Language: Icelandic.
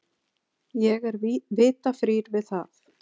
Ég er vita frír við það.